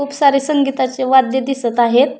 खुप सारे संगीताचे वाद्य दिसत आहेत.